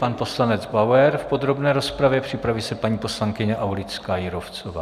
Pan poslanec Bauer v podrobné rozpravě, připraví se paní poslankyně Aulická Jírovcová.